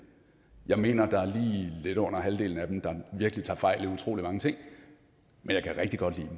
jeg mener at lidt under halvdelen af dem der virkelig tager fejl i utrolig mange ting men jeg kan rigtig godt